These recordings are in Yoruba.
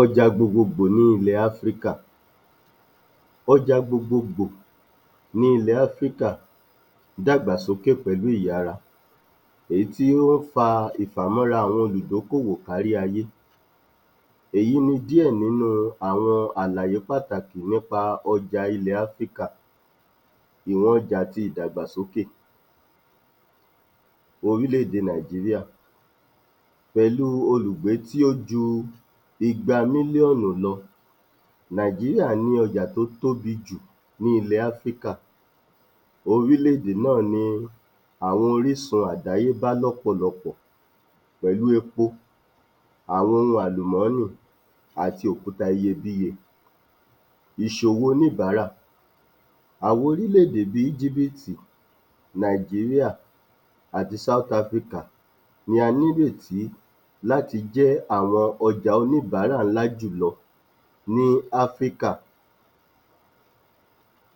Ọjà gbogbogbò ní ilẹ̀ Áfíríkà Ọjà gbogbogbò ní ilẹ̀ Áfíríkà dàgbàsókè pẹ̀lú ìyara èyí tí ó fa ìfàmọra àwọn olùdókòwò kárí ayé èyí ni díẹ̀ nínú àwọn àlàyé pàtàkì nípa ọjà ilẹ̀ Áfíríkà. Èrò ọjà àti ìdàgbàsókè ti orílẹ̀-èdè Nàìjíríà pẹ̀lú olùgbé tí ó ju igba mílíọ̀nù lọ. Nàìjíríà ní ọjà tí ó tóbi jù ní ilẹ̀ Áfíríkà, orílẹ̀-èdè náà ni àwọn orísun àdáyébá lọ́pọ̀lọpọ̀ pẹ̀lú epo àwọn ohun àlùmọ́nì àti òkuta iyebíye Àwọn orílẹ̀-èdè bí i Íjíbìtì [Egypt], Nàìjíríà, àti South Africa ló ní ìrètí láti jẹ́ ọjà àwọn oníbàárà ńlá jùlọ ní Áfíríkà.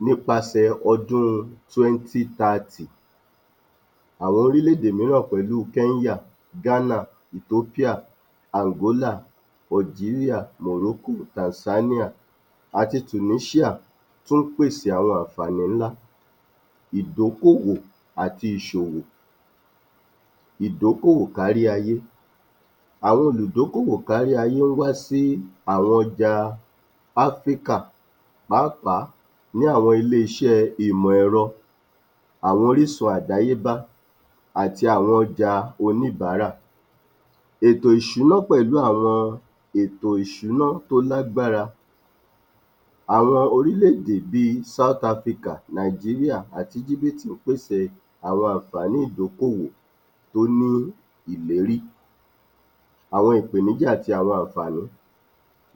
Nípa sẹ̀ ọdún 2030, Àwọn orílẹ̀-èdè mìíràn pẹ̀lu Kenya, Ghana, Ethopia, Angola Algeria, Morocco, Tanzania, àti Tunisia, tó pèsè àwọn àǹfààní ńlá ìdókòwò àti ìṣòwò. Ìdókòwò kárí ayé àwọn olùdókòwò kárí ayé wá sí àwọn ọjà Áfíríkà pàápàá ní àwọn ilé-iṣẹ́ ìmọ̀ ẹ̀rọ, àwọn orísun àdáyébá àti àwọn ọjà oníbàárà ètò ìṣúná pẹ̀lú àwọn ètò ìṣúná tó lágbára. Àwọn orílẹ̀-èdè bí i South-Africa, Nàìjíríà àti Íjíbìtì[Egypt] pèsè àwọn àǹfààní ìdókòwò tó ní ìlérí àwọn ìpèníjà àti àwọn àǹfààní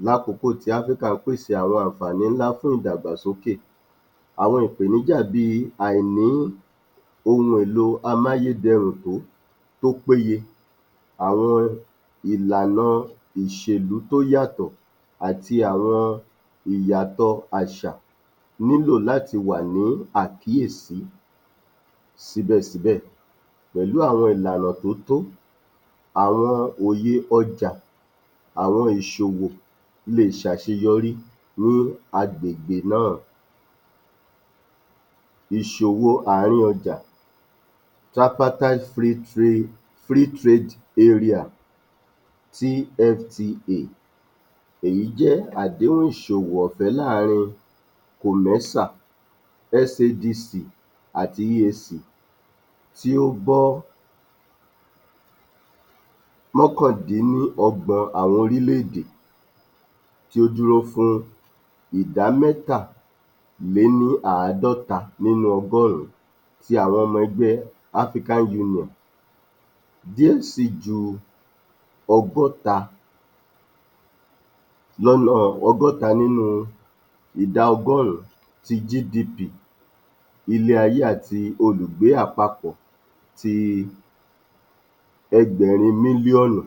lákókò tí Áfíríkà pèsè àwọn àǹfààní ńlá fún ìdàgbàsókè. Àwọn ìpèníjà bí i àìní ohun èlò amáyédẹrùn tó péye. Àwọn ìlànà òṣèlú tó yàtọ̀ àti àwọn ìyàtọ̀ àṣà nílò láti wà ní àkíyèsí síbẹ̀-síbẹ̀ pẹ̀lú àwọn ìlànà tó tó àwọn òye ọjà, àwọn ìṣòwò lè ṣe àṣeyorí ní agbègbè náà. Ìṣòwò ààrín ọjà Tripartite free trade free trade area (TFTA), èyí jẹ́ àdéhùn ìṣòwò ọ̀fẹ́ láàrin colossal SADC àti USA tí ó gbọ́ mọ́kàndíníọgbọn àwọn orílẹ̀-èdè tí ó dúró fún ìdámẹ́ta lé ní ààdọ́ta nínú ọgọ́rùn ti àwọn ọmọ ẹgbẹ́ African Union, díẹ̀ sì ju ọgọ́ta lọ́nà ìdá ọgọ́rùn ti GDP ilé-ayé àti olùgbé àpapọ̀ ti ẹgbẹ̀rún mílíọ́nù.